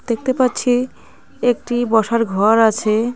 দেখতে পাচ্ছি একটি বসার ঘর আছে.